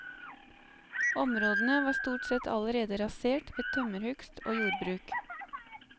Områdene var stort sett allerede rasert ved tømmerhugst og jordbruk.